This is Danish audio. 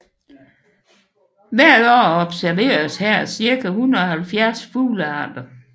Hvert år observeres her cirka 170 fuglearter